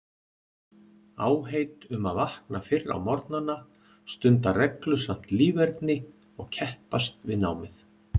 Áheit um að vakna fyrr á morgnana, stunda reglusamt líferni og keppast við námið.